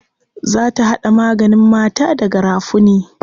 Za ta haɗa maganin mata da garafuni.